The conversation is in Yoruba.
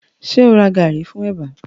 Ṣẹ o ra gàrí fún ẹ̀bà